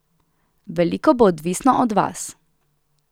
Veliko bo odvisno od vas.